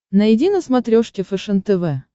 найди на смотрешке фэшен тв